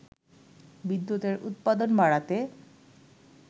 বিদ্যুতের উৎপাদন বাড়াতে